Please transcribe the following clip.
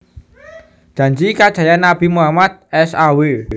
Janji kajayan Nabi Muhammad s a w